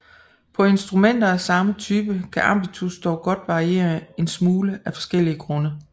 På instrumenter af samme type kan ambitus dog godt variere en smule af forskellige grunde